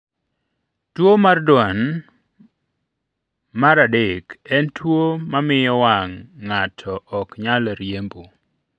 Tuwo mar Duane mar 3 en tuwo ma miyo wang' ng'ato ok nyal riembo.